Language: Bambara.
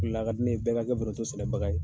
La ka di ne ye bɛɛ ka kɛ foronto sɛnɛbaga ye